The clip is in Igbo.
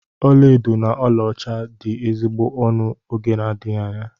Ọlaedo na ọlaọcha dị ezigbo ọnụ n'oge n'adịghị anya.